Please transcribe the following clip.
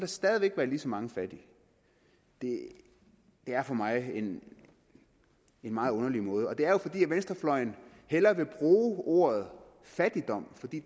stadig væk være lige så mange fattige det er for mig en meget underlig måde og det er jo fordi venstrefløjen hellere vil bruge ordet fattigdom fordi